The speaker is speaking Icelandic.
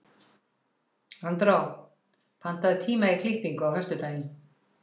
Andrá, pantaðu tíma í klippingu á föstudaginn.